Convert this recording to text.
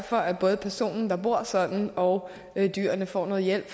for at både personen der bor sådan og dyrene får noget hjælp